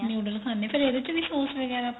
noodle ਖਾਣੇ ਆ ਫੇਰ ਇਹਦੇ ਚ ਵੀ ਸੋਸ ਵਗੈਰਾ